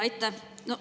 Aitäh!